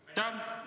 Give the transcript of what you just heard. Aitäh!